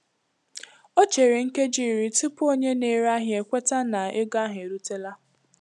O chere nkeji iri tupu onye na-ere ahịa kweta na ego ahụ erutela.